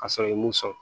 Ka sɔrɔ i ye mun sɔrɔ